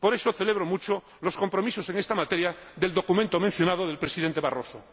Por eso celebro mucho los compromisos en esta materia que contiene el documento mencionado del Presidente Barroso.